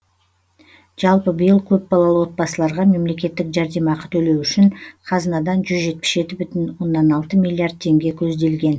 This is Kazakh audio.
жалпы биыл көпбалалы отбасыларға мемлекеттік жәрдемақы төлеу үшін қазынадан жүз жетпіс жеті бүтін оннан алты миллиард теңге көзделген